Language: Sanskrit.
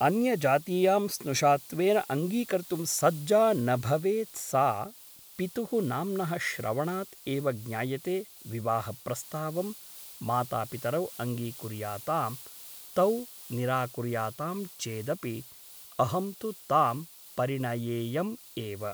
अन्यजातीयां स्नुषात्वेन अङ्गीकर्तुं सज्जा न भवेत् सा पितुः नाम्नः श्रवणात् एव ज्ञायते विवाहप्रस्तावं मातापितरौ अङ्गीकुर्याताम् तौ निराकुर्यातां चेदपि अहं तु तां परिणयेयम् एव ।